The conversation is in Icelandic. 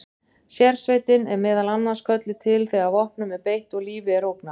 Sérsveitin er meðal annars kölluð til þegar vopnum er beitt og lífi er ógnað.